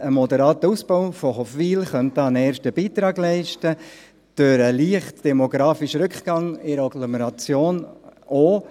Ein moderater Ausbau von Hofwil könnte da einen Beitrag leisten, der leicht demografische Rückgang in der Agglomeration ebenfalls.